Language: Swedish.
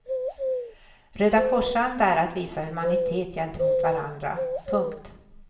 Rödakorsanda är att visa humanitet gentemot varandra. punkt